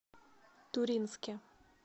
туринске